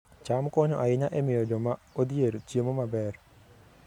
cham konyo ahinya e miyo joma odhier chiemo maber